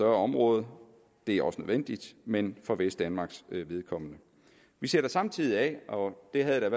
område det er også nødvendigt men for vestdanmarks vedkommende vi sætter samtidig penge af og det havde jeg